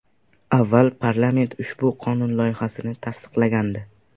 Avval parlament ushbu qonun loyihasini tasdiqlagandi.